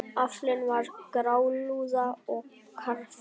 Aflinn var grálúða og karfi.